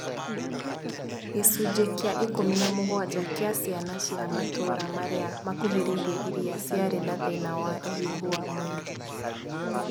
Gĩcunjĩ kĩa ikũmi na mũgwanja kĩa ciana cia matũra marĩa makuhĩrĩirie iria ciarĩ na thĩna wa ũhiũhũ wa mwĩrĩ